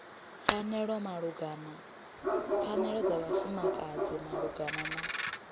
pfanelo dza vhafumakadzi malugana na